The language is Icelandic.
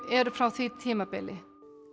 eru frá því tímabili